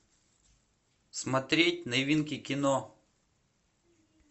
смотреть новинки кино